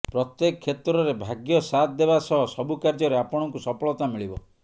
ପ୍ରତ୍ୟେକ କ୍ଷେତ୍ରରେ ଭାଗ୍ୟସାଥ୍ ଦେବା ସହ ସବୁ କାର୍ଯ୍ୟରେ ଆପଣଙ୍କୁ ସଫଳତା ମିଳିବ